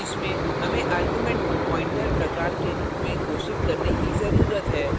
इसमें हमें arguments को pointer प्रकार के रूप में घोषित करने की जरूरत है